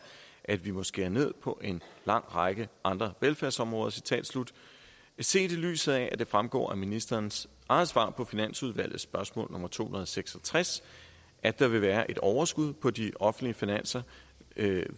at vi må skære ned på en lang række andre velfærdsområder set i lyset af at det fremgår af ministerens eget svar på finansudvalgets spørgsmål nummer to hundrede og seks og tres at der vil være et overskud på de offentlige finanser